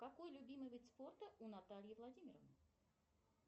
какой любимый вид спорта у натальи владимировны